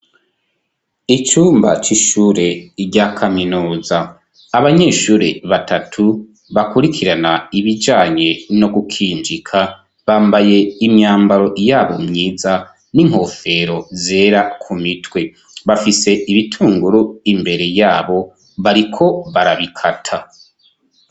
Icumba c'ishure rya kaminuza, abanyeshuri batatu bakurikirana ibijanye no gukinjika bambaye imyambaro yabo myiza n'inkofero zera ku mitwe, bafise ibitunguru imbere yabo bariko barabikata.